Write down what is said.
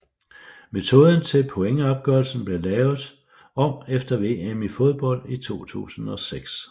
Metoden til pointopgørelsen blev lavet om efter VM i fodbold 2006